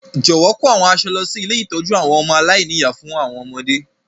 Jọ̀wọ́ kò àwọn aṣọ lọ si ilé ìtójú àwon ọmọ aláìní-ìyá fún àwọn ọmọdé.